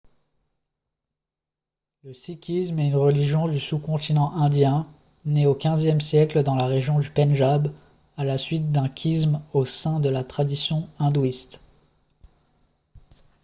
le sikhisme est une religion du sous-continent indien née au xve siècle dans la région du pendjab à la suite d'un schisme au sein de la tradition hindouiste